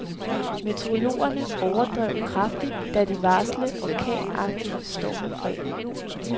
Meteorologerne overdrev kraftigt, da de varslede orkanagtig storm fredag.